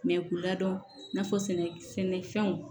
k'u ladɔn i n'a fɔ sɛnɛ sɛnɛfɛnw